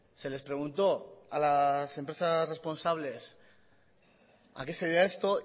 se les preguntó a las empresas responsables a qué se debe esto